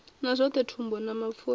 na zwothe thundu na mapfura